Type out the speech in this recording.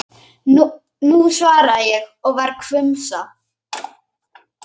Nú, svaraði ég og var hvumsa.